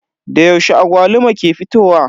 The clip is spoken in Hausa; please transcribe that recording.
Da yaushe agwaluma ke fitowa?